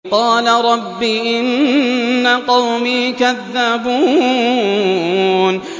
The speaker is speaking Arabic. قَالَ رَبِّ إِنَّ قَوْمِي كَذَّبُونِ